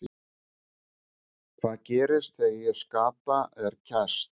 Hvað gerist þegar skata er kæst?